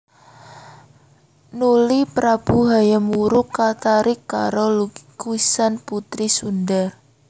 Nuli prabu Hayam Wuruk katarik karo lukisané putri Sundha